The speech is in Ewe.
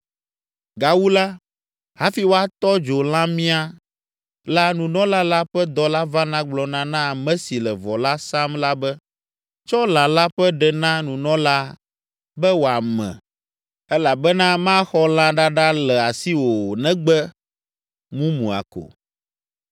Gawu la, hafi woatɔ dzo lãmia la nunɔla la ƒe dɔla vana gblɔna na ame si le vɔ la sam la be, “Tsɔ lã la ƒe ɖe na nunɔlaa be wòame elabena maxɔ lã ɖaɖa le asiwò o negbe mumua ko.”